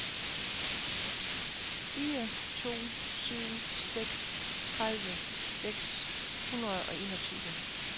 fire to syv seks tredive seks hundrede og enogtyve